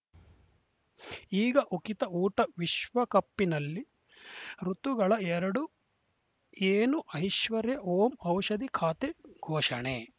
ಈಗ ಉಕಿತ ಊಟ ವಿಶ್ವಕಪಿನಲ್ಲಿ ಋತುಗಳ ಎರಡು ಏನು ಐಶ್ವರ್ಯಾ ಓಂ ಔಷಧಿ ಖಾತೆ ಘೋಷಣೆ